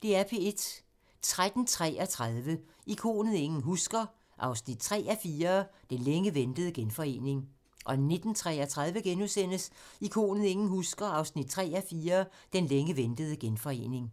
13:33: Ikonet ingen husker – 3:4 Den længe ventede genforening 19:33: Ikonet ingen husker – 3:4 Den længe ventede genforening *